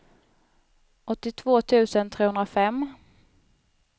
åttiotvå tusen trehundrafem